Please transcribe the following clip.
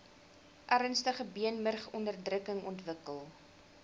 ernstige beenmurgonderdrukking ontwikkel